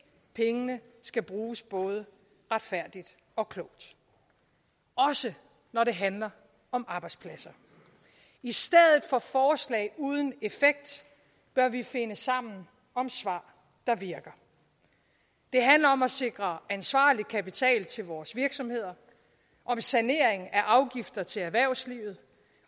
pengene skal bruges både retfærdigt og klogt også når det handler om arbejdspladser i stedet for forslag uden effekt bør vi finde sammen om svar der virker det handler om at sikre ansvarlig kapital til vores virksomheder om sanering af afgifter til erhvervslivet